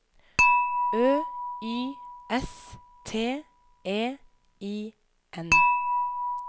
Ø Y S T E I N